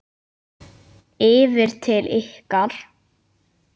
Yfir til ykkar?